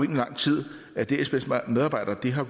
lang tid at dsbs medarbejdere har